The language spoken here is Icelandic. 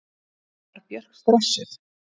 Var Björk stressuð?